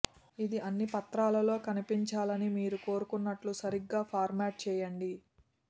ఇది అన్ని పత్రాల్లో కనిపించాలని మీరు కోరుకున్నట్లు సరిగ్గా ఫార్మాట్ చేయండి